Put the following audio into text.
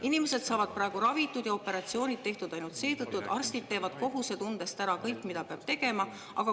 Inimesed saavad praegu ravitud ja operatsioonid tehtud ainult seetõttu, et arstid teevad kohusetundest ära kõik, mida peab tegema.